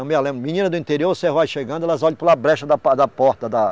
Eu me lembro, menina do interior, você chegando, elas olham pela brecha da po, da porta da.